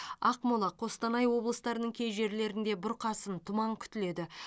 ақмола қостанай облыстарының кей жерлерінде бұрқасын тұман күтіледі